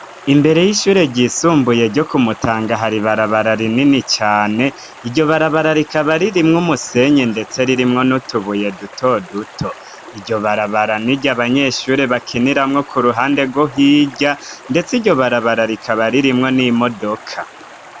Imbere y'ishure ryisumbuye ryo kumutanga hari barabarara inini cane iryo barabararika baririmwo umusenye, ndetse ririmwo nutubuye dutoduto iryo barabarani rya abanyeshuri bakiniramwo ku ruhande rwo hirya, ndetse iryo barabararikaa baririmwo n'i modoka.